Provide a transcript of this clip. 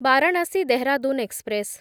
Varanasi Dehradun express